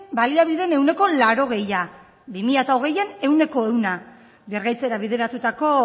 baliabideen ehuneko laurogeita hamara bi mila hogeian ehuneko ehuna birgaitzera bideratutako